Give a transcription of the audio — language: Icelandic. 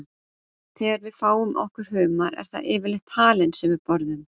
þegar við fáum okkur humar er það yfirleitt halinn sem við borðum